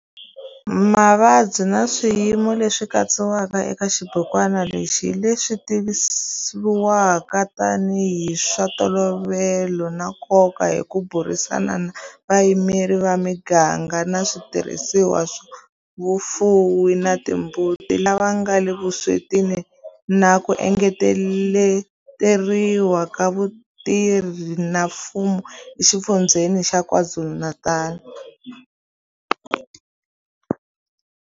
Mavabyi na swiyimo leswi katsiwaka eka xibukwana lexi hi leswi tivivwaka tanihi hi swa ntolovelo na nkoka hi ku burisana na vayimeri va miganga na switirhisiwa swa vafuwi va timbuti lava nga le vuswetini na ku engeteriwa ka vatirhi va mfumo eXifundzheni xa KwaZulu-Natal.